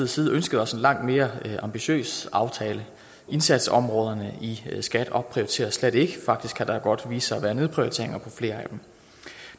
side ønsket os en langt mere ambitiøs aftale indsatsområderne i skat opprioriteres slet ikke faktisk kan der godt vise sig at være nedprioriteringer på flere af dem